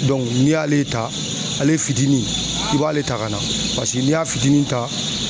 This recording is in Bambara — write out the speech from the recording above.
n'i y'ale ta, ale fitinin i b'ale ta ka na. Paseke n'i y'a fitinin ta